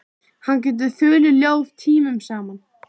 Hann getur þulið ljóð tímunum saman.